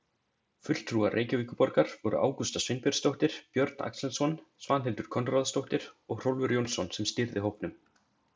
Fulltrúar Reykjavíkurborgar voru Ágústa Sveinbjörnsdóttir, Björn Axelsson, Svanhildur Konráðsdóttir og Hrólfur Jónsson sem stýrði hópnum.